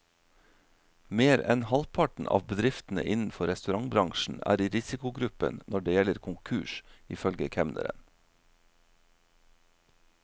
Mer enn halvparten av bedriftene innenfor restaurantbransjen er i risikogruppen når det gjelder konkurs, ifølge kemneren.